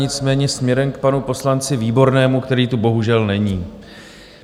Nicméně směrem k panu poslanci Výbornému, který tu bohužel není.